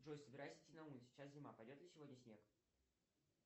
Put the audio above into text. джой собираюсь идти на улицу сейчас зима пойдет ли сегодня снег